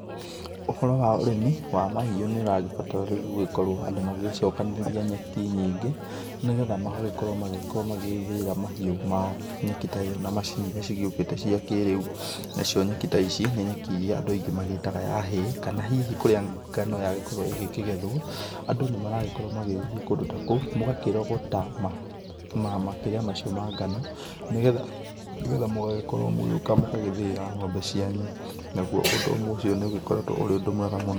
Ũhoro wa ũrĩmi wa mahiũ nĩũragĩbatara rĩu gũgĩkorwo andũ magĩgĩcokanĩrĩria nyeki nyingĩ nĩgetha magagĩkorwo magĩkorwo magĩgĩthĩĩra mahiũ mao nyeki ta ĩo na macini iria cigĩũkĩte cia kĩrĩu. Nacio nyeki ta ici, nĩ nyeki iria andũ aingĩ magĩtaga ya hay, kana hihi kũrĩa ngano yagĩkorwo ĩgĩkĩgethwo andũ nĩmaragĩkorwo magĩgĩthie kũndũ ta kũu, mũgakĩrogota ma, makĩrĩa macio ma ngano, nĩgetha mũgagĩkorwo mũgĩũka mũgagĩthĩĩra ng'ombe cianyu, naguo ũndũ ũmwe ũcio nĩũgĩkoretwo ũrĩ ũndũ mwega mũno.